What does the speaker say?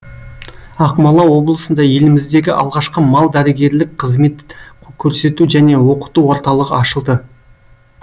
ақмола облысында еліміздегі алғашқы мал дәрігерлік қызмет көрсету және оқыту орталығы ашылды